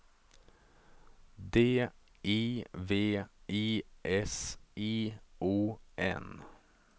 D I V I S I O N